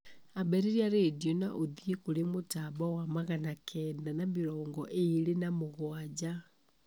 ambĩrĩria rĩndiũ na ũthiĩ kũri mũtambo wa magana kenda na mĩrongo ĩrĩ na mgwanja